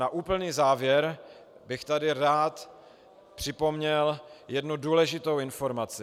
Na úplný závěr bych tady rád připomněl jednu důležitou informaci.